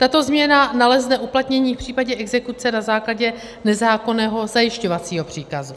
Tato změna nalezne uplatnění v případě exekuce na základě nezákonného zajišťovacího příkazu.